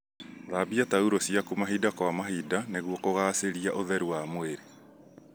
Thambia taurũ ciaku mahinda kwa mahinda nĩguo kũgacĩria ũtheru wa mwirĩ.